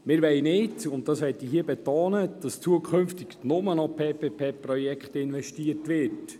Wir wollen nicht, dass zukünftig nur noch in PPP-Projekte investiert wird.